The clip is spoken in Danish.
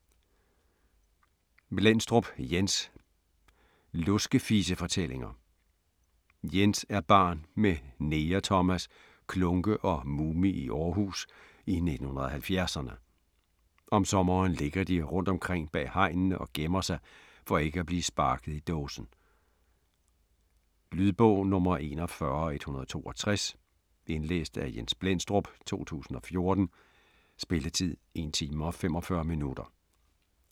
Blendstrup, Jens: Luskefisefortællinger Jens er barn med Neger Thomas, Klunke og Mumi i Århus i 1970'erne. Om sommeren ligger de rundtomkring bag hegnene og gemmer sig for ikke at blive sparket i dåsen. Lydbog 41162 Indlæst af Jens Blendstrup, 2014. Spilletid: 1 time, 45 minutter.